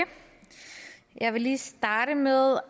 jeg vil lige starte med